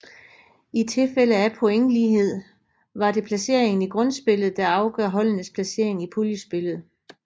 I tilfælde af pointlighed var det placeringen i grundspillet der afgør holdenes placering i puljespillet